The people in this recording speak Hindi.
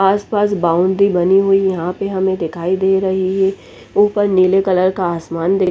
पास पास बाउंड्री बनी हुई है यहाँ पर हमे दिखाई दे रही है ऊपर नील कलर का आसमान --